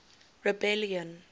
rebellion